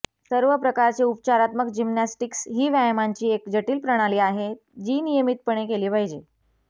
सर्व प्रकारचे उपचारात्मक जिम्नॅस्टिक्स ही व्यायामांची एक जटिल प्रणाली आहे जी नियमितपणे केली पाहिजे